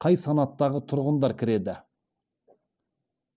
қай санаттағы тұрғындар кіреді